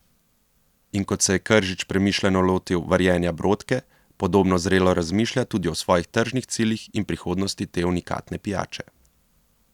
In kot se je Kržič premišljeno lotil varjenja brodke, podobno zrelo razmišlja tudi o svojih tržnih ciljih in prihodnosti te unikatne pijače.